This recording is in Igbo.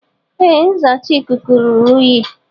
Ee nzacha ikuku ruru unyi.